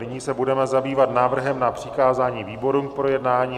Nyní se budeme zabývat návrhem na přikázání výborům k projednání.